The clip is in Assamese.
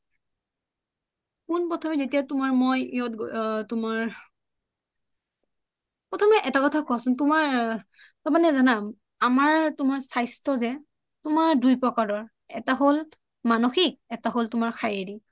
পোনপ্ৰথমে যেতিয়া তোমাৰ মই অ তোমাৰ অ তুমি এটা কথা কোৱাচোন আমাৰ স্বাস্থ্য যে তোমাৰ দুই প্ৰকাৰৰ এটা হল মানসিক এটা হল তোমাৰ শাৰিৰীক